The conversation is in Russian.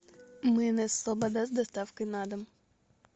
майонез слобода с доставкой на дом